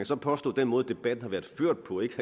så påstå at den måde debatten har været ført på ikke